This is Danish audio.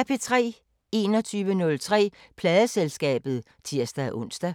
21:03: Pladeselskabet (tir-ons)